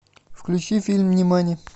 включи фильм нимани